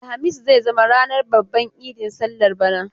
Alhamis zai zama ranar babban idi sallar bana.